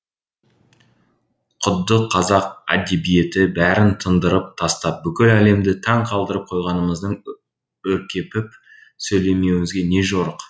құдды қазақ әдебиеті бәрін тындырып тастап бүкіл әлемді таң қалдырып қойғанымыздай өркепіп сөйлеуімізге не жорық